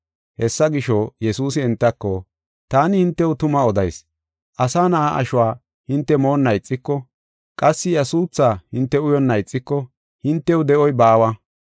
Hessa gisho, Yesuusi entako, “Taani hintew tuma odayis; Asa Na7aa ashuwa, hinte moonna ixiko, qassi iya suuthaa hinte uyonna ixiko, hintew de7oy baawa.